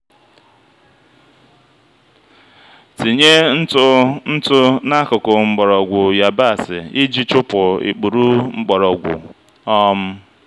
tinye ntụ ntụ n'akụkụ mgbọrọgwụ yabasị iji chụpụ ikpuru mgbọrọgwụ. um